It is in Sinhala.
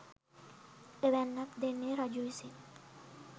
එවැන්නක් දෙන්නේ රජු විසින්